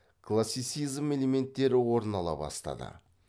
классицизм элементтері орын ала бастады